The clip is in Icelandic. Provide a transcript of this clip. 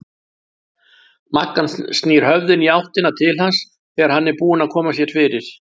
Magga snýr höfðinu í áttina til hans þegar hann er búinn að koma sér fyrir.